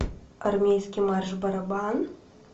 армейский марш барабан